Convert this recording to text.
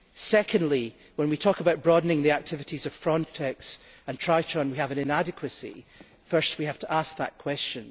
Secondly, when we talk about broadening the activities of Frontex and Triton, we have an inadequacy. First we have to ask that question.